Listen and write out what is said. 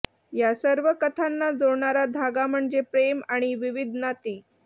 या सर्व कथांना जोडणारा धागा म्हणजे प्रेम आणि विविध नाती